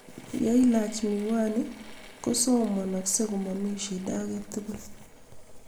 Ye ilach miwaniik kosomomei komomii shida agetugul.